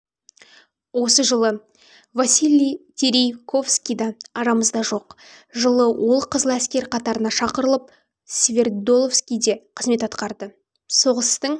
осы жылы василий терейковскийда арамызда жоқ жылы ол қызыл әскер қатарына шақырылып свердловскийде қызмет атқарды соғыстын